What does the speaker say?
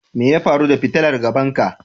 Me ya faru da fitilan gaban ka?